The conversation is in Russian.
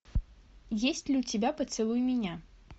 есть ли у тебя поцелуй меня